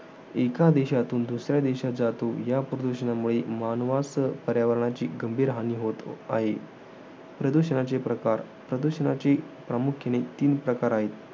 एका देशातून दुसऱ्या देशात जातो. या प्रदूषणामुळे मानवास, पर्यावरणाची गंभीर हानी होत आहे. प्रदूषणाचे प्रकार. प्रदूषणाचे प्रामुख्याने तीन प्रकार आहेत.